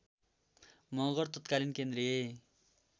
मगर तत्कालीन केन्द्रीय